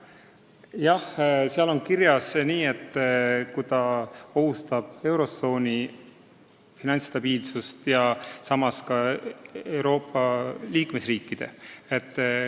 Jah, seal on kirjas, et stabiilsustoetust antakse, kui ohtu satub eurotsooni finantsstabiilsus, aga ka Euroopa liikmesriikide oma.